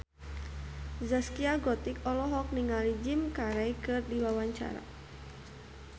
Zaskia Gotik olohok ningali Jim Carey keur diwawancara